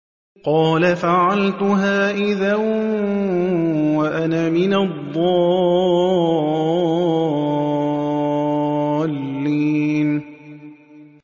قَالَ فَعَلْتُهَا إِذًا وَأَنَا مِنَ الضَّالِّينَ